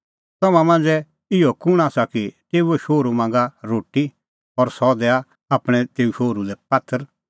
तम्हां मांझ़ै इहअ कुंण आसा कि तेऊओ शोहरू मांगा रोटी और सह दैआ आपणैं तेऊ शोहरू लै पात्थर